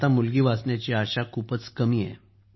आता मुलगी वाचण्याची आशा खूपच कमी आहे